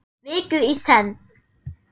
Viku í senn.